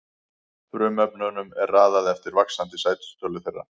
Frumefnunum er raðað eftir vaxandi sætistölu þeirra.